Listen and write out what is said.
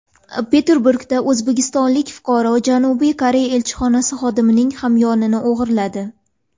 Peterburgda o‘zbekistonlik fuqaro Janubiy Koreya elchixonasi xodimining hamyonini o‘g‘irladi.